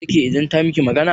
Za ki dake idan ta miki magana?